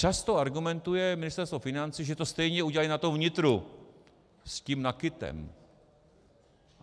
Často argumentuje Ministerstvo financí, že to stejně udělají na tom vnitru s tím NAKITem.